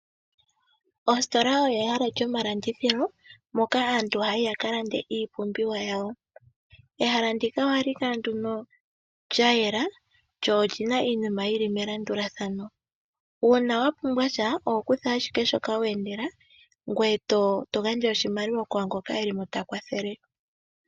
Ositola oyo ehala lyomalandithilo, moka aantu haya yi yaka lande iipumbiwa yawo. Ehala ndika ohali kala nduno lya yela , lyo oli na iinima yi li melandulathano. Uuna wa pumbwa sha, oho kutha ashike shoka wa endela, ngoye to gandja oshimaliwa ku ngoka eli mo ta kwathele.